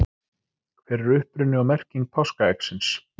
hver er uppruni og merking páskaeggsins